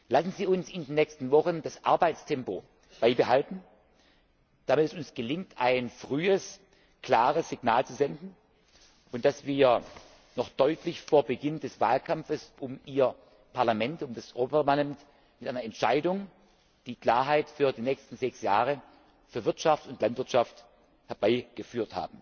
Lassen Sie uns in den nächsten Wochen das Arbeitstempo beibehalten, damit es uns gelingt, ein frühes, klares Signal zu senden, und damit wir noch deutlich vor Beginn des Wahlkampfs um Ihr Parlament mit einer Entscheidung Klarheit für die nächsten sechs Jahre für Wirtschaft und Landwirtschaft herbeiführen.